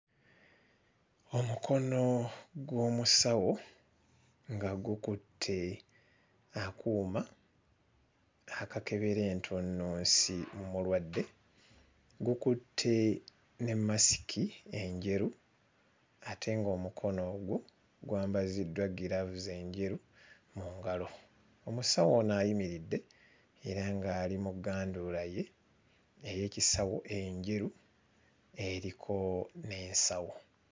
Omukono gw'omusawo nga gukutte akuuma akakebera entunnunsi mu mulwadde, gukutte ne mmasiki enjeru ate ng'omukono ogwo gwambaziddwa giraavuzi enjeru mu ngalo. Omusawo ono ayimiridde era ng'ali mu gganduula ye ey'ekisawo enjeru eriko n'ensawo.